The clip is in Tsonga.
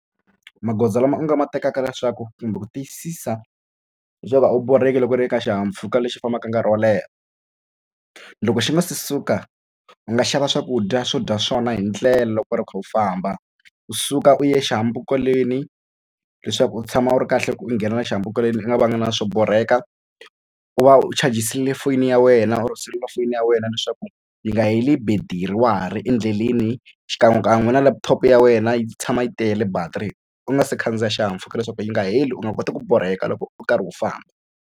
Magoza lama u nga ma tekaka leswaku kumbe ku tiyisisa leswaku a wu borheki loko u ri eka xihahampfhuka lexi fambaka nkarhi wo leha loko xi nga se suka u nga xava swakudya swo dya swona hi ndlela loko u kha u famba u suka u ya xihambukelweni leswaku u tshama u ri kahle ku u nghena xihambukelweni u nga na swo borheka u va u chajisa le fonini ya wena or selulafoni ya wena leswaku yi nga heli betiri wa ha ri endleleni xikan'wekan'we na laptop ya wena yi tshama yi tele battery u nga si khandziya xihahampfhuka leswaku yi nga heli u nga koti ku borheka loko u karhi u famba.